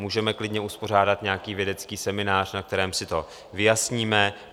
Můžeme klidně uspořádat nějaký vědecký seminář, na kterém si to vyjasníme.